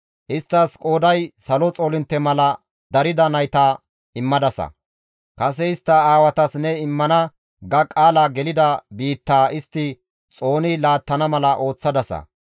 Isttas qooday salo xoolintte mala darida nayta immadasa; kase istta aawatas ne immana ga qaala gelida biittaa istti xooni laattana mala ooththadasa.